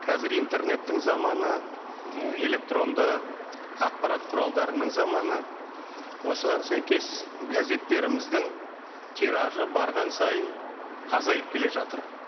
қазір интернеттің заманы электронды ақпарат құралдарының заманы осыған сәйкес газеттеріміздің тиражы барған сайын азайып келе жатыр